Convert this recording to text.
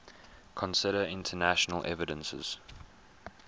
consider internal evidences